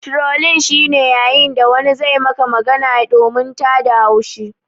Trolling shi ne yayin da wani zai Maka magana domin tada haushi.